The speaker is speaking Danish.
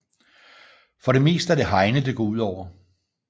For det meste er det Heine det går ud over